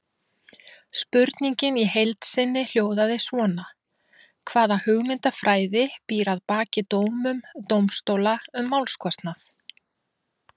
Spurningin í heild sinni hljóðaði svona: Hvaða hugmyndafræði býr að baki dómum dómstóla um málskostnað?